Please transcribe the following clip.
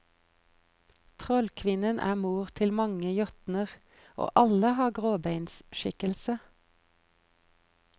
Trollkvinnen er mor til mange jotner, og alle har gråbeinskikkelse.